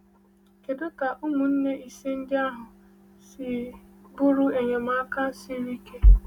Kedu ka ụmụnne ise ndị ahụ si bụrụ enyemaka siri ike?